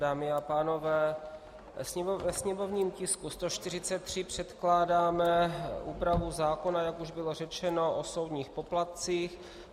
Dámy a pánové, ve sněmovním tisku 143 předkládáme úpravu zákona, jak už bylo řečeno, o soudních poplatcích.